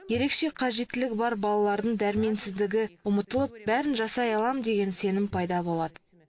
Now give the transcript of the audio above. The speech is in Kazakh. ерекше қажеттілігі бар балалардың дәрменсіздігі ұмытылып бәрін жасай аламын деген сенім пайда болады